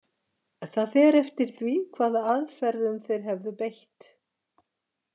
Það fer eftir því hvaða aðferðum þeir hefðu beitt.